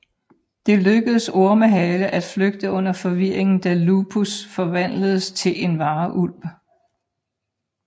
Det lykkes Ormehale at flygte under forvirringen da Lupus forvandles til en varulv